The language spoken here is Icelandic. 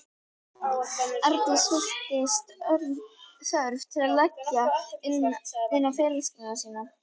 Arndís fylltist þörf til að leggja inn á ferilskrána sína.